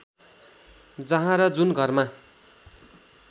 जहाँ र जुन घरमा